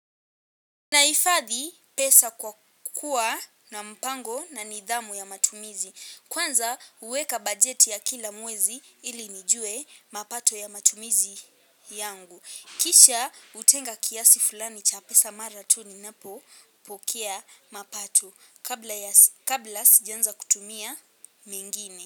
Nahifadhi pesa kwa kuwa na mpango na nidhamu ya matumizi. Kwanza huweka bajeti ya kila mwezi ili nijue mapato ya matumizi yangu. Kisha hutenga kiasi fulani cha pesa mara tu ninapopokea mapato kabla ya kabla sijaanza kutumia mengine.